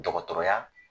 Dɔgɔtɔrɔya